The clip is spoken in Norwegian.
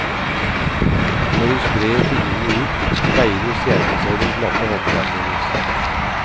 Når hun sprer fingrene ut, speiler stjernene seg i den glatte håndflaten hennes.